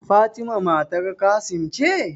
Fatima matar Qassim ce?